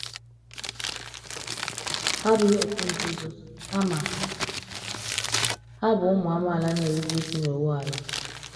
Hà abụghị òtù nzuzo, kama hà bụ ụmụ amaala na-erube isi n’iwu ala.